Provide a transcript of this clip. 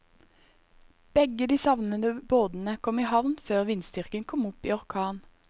Begge de savnede båtene kom i havn før vindstyrken kom opp i orkan.